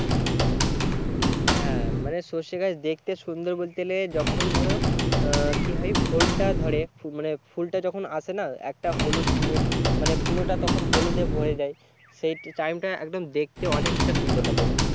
হ্যাঁ মানে সর্ষে গাছ দেখতে সুন্দর বলতে গেলে যখন ধরো আহ কি হয় ফলটা ধরে মানে ফুলটা যখন আসেনা একটা হলুদ মানে পুরোটা তখন হলুদে ভোড়েযায় সেই টাইম টা একদম দেখতে অনেকটা সুন্দর লাগে